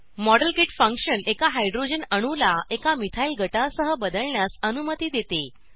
model kit function एका hydrogen अणूला एका मिथाइल गटासह बदलण्यास अनुमती देते